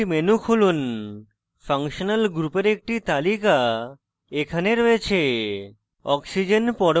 model kit menu খুলুন functional গ্রুপের একটি তালিকা এখানে রয়েছে